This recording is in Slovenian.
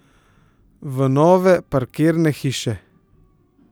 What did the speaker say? V nove parkirne hiše?